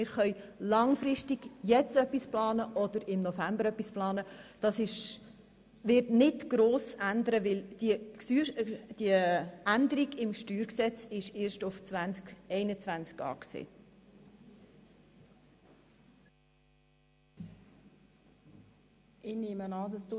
Wir können langfristig etwas planen oder dann eben auch im November, das bringt keine Änderung, weil diese Änderung im Steuergesetz erst auf 2021 vorgesehen ist.